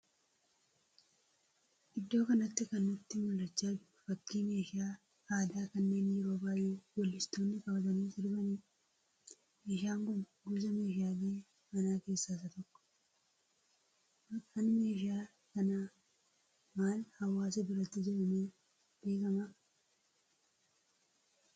Iddoo kanatti kan nutti mul'achaa jiru fakkii meeshaa aadaa kanneen yeroo baay'ee weellistoonni qabatanii sirbaniidha. Meeshaan kun gosa meeshaalee manaa keessaa isa tokko. Maqaan meeshaa kanaa maal hawwaasa biratti jedhamee beekama?